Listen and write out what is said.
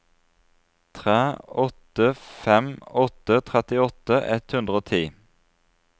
tre åtte fem åtte trettiåtte ett hundre og ti